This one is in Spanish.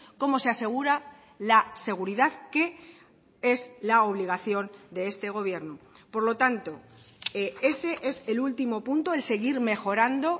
como se asegura la seguridad que es la obligación de este gobierno por lo tanto ese es el último punto el seguir mejorando